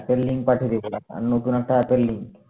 app এর link পাঠিয়ে রেখে দাও অন্য কোনো একটা app এর লিঙ্ক